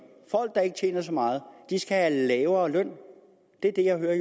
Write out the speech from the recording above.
folk der ikke tjener så meget skal have lavere løn det er det jeg hører